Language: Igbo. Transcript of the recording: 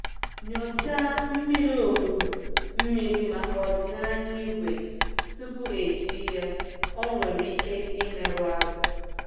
Nyochaa mmiri olulu mmiri maka ọdịnaya ígwè tupu eji ya, ọ nwere ike imerụ azụ̀.